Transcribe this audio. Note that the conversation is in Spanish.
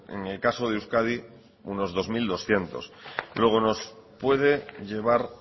en el caso de euskadi uno dos mil doscientos luego nos puede llevar